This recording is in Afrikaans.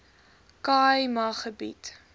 khâi ma gebied